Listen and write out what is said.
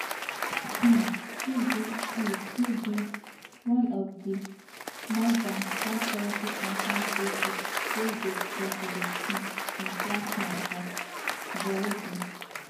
um e be e be one of di more dan 170 confirmed cases wey dey recorded um since last month for burundi